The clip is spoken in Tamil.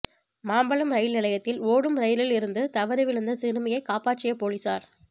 மாம்பலம் ரயில் நிலையத்தில் ஓடும் ரயிலில் இருந்து தவறி விழுந்த சிறுமியை காப்பாற்றிய போலீசார்